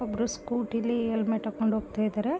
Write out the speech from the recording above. ಒಬ್ರು ಸ್ಕೂಟಿ ಲಿ ಹೆಲ್ಮೆಟ್ ಹಾಕ್ಕೊಂಡು ಹೋಗ್ತಾ ಇದ್ದರೆ .